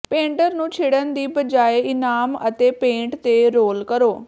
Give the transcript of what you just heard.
painter ਨੂੰ ਛਿੜਣ ਦੀ ਬਜਾਏ ਇਨਾਮ ਅਤੇ ਪੇਂਟ ਤੇ ਰੋਲ ਕਰੋ